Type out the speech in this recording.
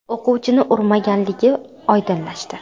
o‘quvchini urmaganligi oydinlashdi.